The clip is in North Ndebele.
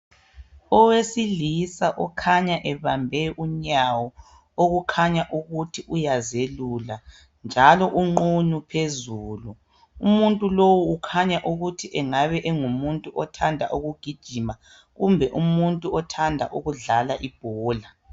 Owesilisa okhanya ebambe unyawo okukhanya ukuthi uyazelula njalo unqunu phezulu. Umuntu lowu ukhanya ukuthi angabe engumuntu othanda ukugijima kumbe umuntu othanda ukudlala ibhola.